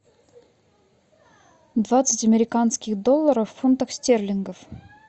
двадцать американских долларов в фунтах стерлингов